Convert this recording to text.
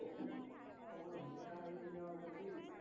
अवघड म्हणजे काय लईच अवघड ते